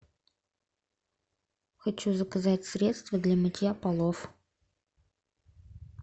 хочу заказать средство для мытья полов